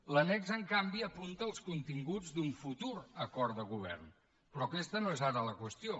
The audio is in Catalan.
l’annex en canvi apunta els continguts d’un futur acord de govern però aquesta no és ara la qüestió